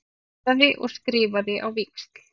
Skoðaði og skrifaði á víxl.